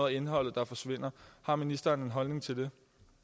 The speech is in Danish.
af indholdet der forsvinder har ministeren en holdning til det